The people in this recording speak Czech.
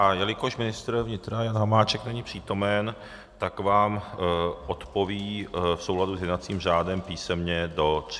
A jelikož ministr vnitra Jan Hamáček není přítomen, tak vám odpoví v souladu s jednacím řádem písemně do 30 dnů.